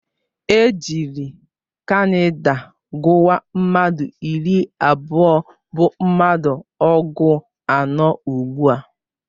Ejiri kadinal guwa, mmadụ iri abụọ bụ mmadụ ọgụ anọ ugbua